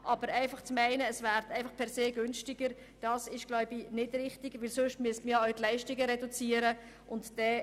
Aber einfach zu meinen, es werde per se immer preisgünstiger, wird kaum funktionieren, denn dazu müssten Leistungen reduziert werden.